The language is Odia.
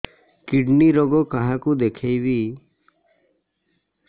କିଡ଼ନୀ ରୋଗ କାହାକୁ ଦେଖେଇବି